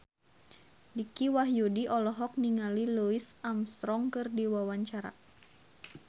Dicky Wahyudi olohok ningali Louis Armstrong keur diwawancara